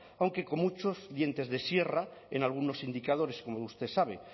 aunque con muchos dientes de sierra en algunos indicadores como usted sabe